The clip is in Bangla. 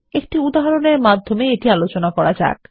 একটি উদাহরনের মাধ্যমে আলোচনা শুরু করা যাক